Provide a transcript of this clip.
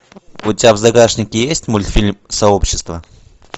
у тебя в загашнике есть мультфильм сообщество